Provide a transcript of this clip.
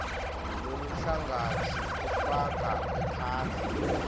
loluhlangotsi lufaka ekhatsi